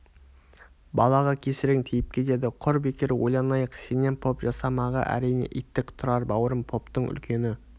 балаға кесірің тиіп кетеді құр бекер ойланайық сенен поп жасамағы әрине иттік тұрар бауырым поптың үлкені